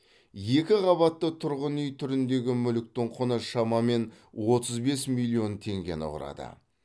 екінші қабатты тұрғын үй түріндегі мүліктің құны шамамен отыз бес миллион теңгені құрады